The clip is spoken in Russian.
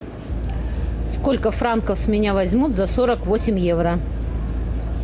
сколько франков с меня возьмут за сорок восемь евро